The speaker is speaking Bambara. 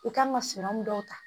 I kan ka dɔw ta